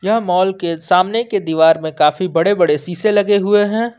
यह मॉल के सामने की दीवार में काफी बड़े बड़े शीशे लगे हुए हैं।